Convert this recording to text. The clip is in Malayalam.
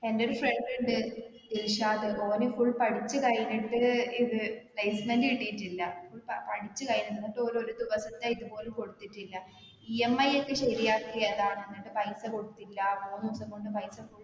എൻ്റെ ഒരു friend ഇണ്ട് ഇർഷാദ് ഓന് full പഠിച്ച് കഴിഞ്ഞിട്ട് ഇത് placement കിട്ടീട്ടില്ല full പ പഠിച്ച് കഴിഞ്ഞു എന്നിട്ട് ഓല് ഒരിക് പോലും കൊടുത്തിട്ടില്ല EMI ഒക്കെ ശരിയാക്കിയതാ എന്നിട്ട് പൈസ കൊടുത്തില്ല മൂന്നിസം കൊണ്ട് പൈസ full